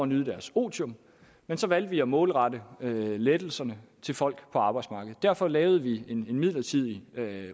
nyde deres otium men så valgte vi at målrette lettelserne til folk på arbejdsmarkedet derfor lavede vi en midlertidig